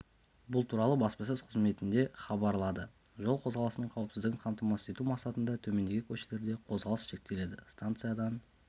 бұл туралы баспасөз қызметінде хабарлады жол қозғалысының қауіпсіздігін қамтамасыз ету мақсатында төмендегі көшелерде қозғалыс шектеледі станциядан